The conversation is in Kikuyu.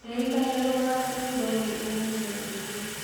ndĩrĩkanĩa guthaka rwĩmbo rũũ ũmũthĩ ũtũkũ